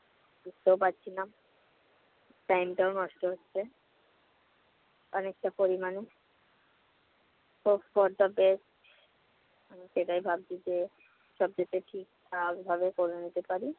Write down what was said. করতেও পারছি না time টাও নষ্ট হচ্ছে। অনেকটা পরিমাণে hope for the best আমি সেটাই ভাবছি যে সব যাতে ঠিকঠাক ভাবে করে নিতে পারি।